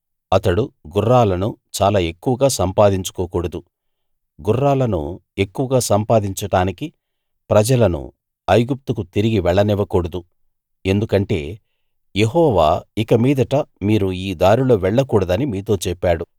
అతడు గుర్రాలను చాలా ఎక్కువగా సంపాదించుకోకూడదు గుర్రాలను ఎక్కువగా సంపాదించడానికి ప్రజలను ఐగుప్తుకు తిరిగి వెళ్లనివ్వకూడదు ఎందుకంటే యెహోవా ఇక మీదట మీరు ఈ దారిలో వెళ్లకూడదని మీతో చెప్పాడు